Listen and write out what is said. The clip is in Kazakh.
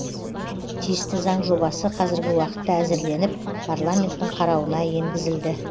тиісті заң жобасы қазіргі уақытта әзірленіп парламенттің қарауына енгізілді